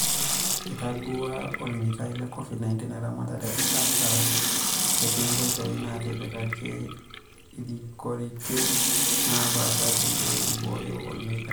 Eitadouo olemetai le Covid-19 eramatare ata etii ngoitoi naatipikaki irikoritin naapasha peyie ibooyo emoyian.